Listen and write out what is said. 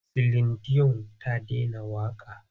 Silin diyon ta dena waƙa.